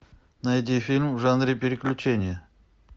найди фильм в жанре приключения